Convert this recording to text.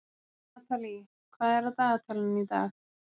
Natalí, hvað er á dagatalinu í dag?